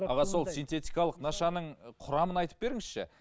аға сол синтетикалық нашаның құрамын айтып беріңізші